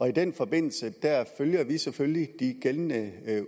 i den forbindelse følger vi selvfølgelig de gældende